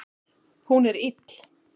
Hún er ill.